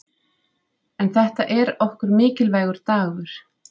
En þetta er okkur mikilvægur dagur.